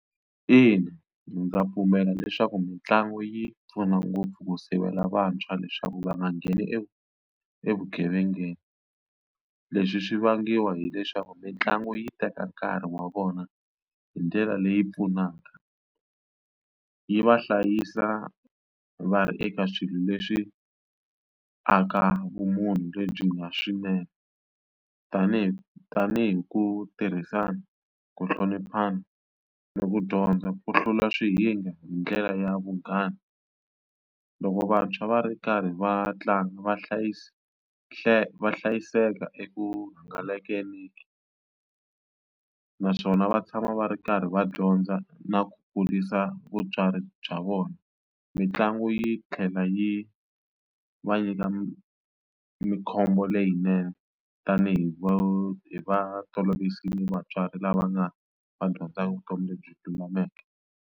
Ina, ndza pfumela leswaku mitlangu yi pfuna ngopfu ku sivela vantshwa leswaku va nga ngheni evugevengeni leswi swi vangiwa hileswaku mitlangu yi teka nkarhi wa vona hi ndlela leyi pfunaka yi va hlayisa va ri eka swilo leswi aka vumunhu lebyi nga swinene tanihi tanihi ku tirhisana ku hloniphana no ku dyondza ku hlula swihinga hi ndlela ya vunghana loko vantshwa va ri karhi va tlanga vahlayisi va hlayiseka emugangeni naswona va tshama va ri karhi va dyondza na ku kurisa vutswari bya vona mitlangu yi tlhela yi va nyika mkhombo leyinene tanihi va hi va toloverile vatswari lava nga va dyondzaka vutomi lebyi lulameke.